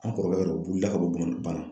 An kɔrɔkɛ yɛrɛ o wulila ka bɔ banna